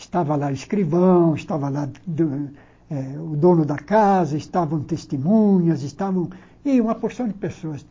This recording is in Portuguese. Estava lá o escrivão, estava lá do eh o dono da casa, estavam testemunhas, estavam e uma porção de pessoas.